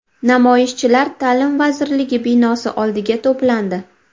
Namoyishchilar Ta’lim vazirligi binosi oldiga to‘plandi.